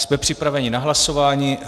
Jsme připraveni na hlasování.